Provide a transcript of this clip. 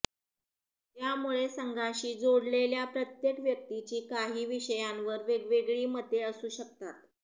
त्यामुळे संघाशी जोडलेल्या प्रत्येक व्यक्तीची काही विषयांवर वेगवेगळी मते असू शकतात